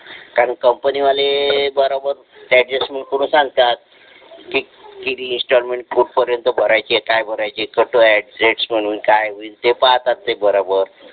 कारण कंपनी वाले बरोबर अड्जस्ट करून सांगतात किती इंस्टॉलमेंट कुठपर्यंत भरायच्या काय भरायचा कसा आहे काय होईल ते पहातात बरोबर